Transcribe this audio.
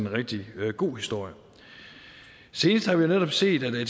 rigtig god historie senest har vi netop set at